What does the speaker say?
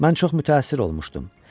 Mən çox mütəəssir olmuşdum.